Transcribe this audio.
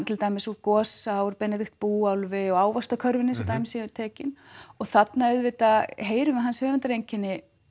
til dæmis úr Gosa Benedikt búálfi og ávaxtakörfunni svo dæmi séu tekin og þarna auðvitað heyrum við hans höfundareinkenni